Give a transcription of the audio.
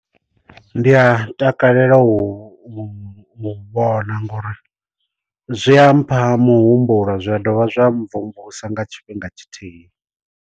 Ndi a takalela u vhona ngori zwi a mpha muhumbulo zwa dovha zwa mvumvusa nga tshifhinga tshithihi.